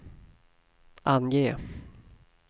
ange